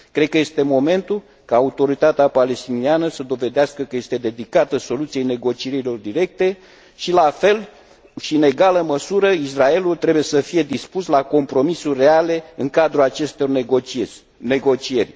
Cred că este momentul ca Autoritatea Palestiniană să dovedească că este dedicată soluției negocierilor directe și, la fel și în egală măsură, Israelul trebuie să fie dispus la compromisuri reale în cadrul acestor negocieri.